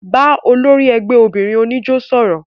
Bà ólòri ẹgbẹ óbinrin onijó sọrọ!